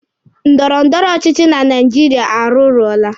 Ndọrọ ndọrọ ọchịchị na Naijiria arụrụọla.